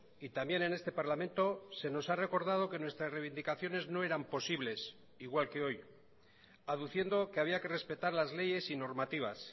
y también en este parlamento se nos ha recordado que nuestras reivindicaciones no eran posibles igual que hoy aduciendo que había que respetar las leyes y normativas